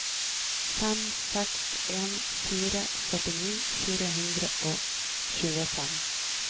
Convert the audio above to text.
fem seks en fire førtini fire hundre og tjuefem